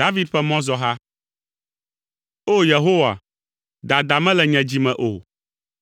David ƒe Mɔzɔha. O! Yehowa, dada mele nye dzi me o,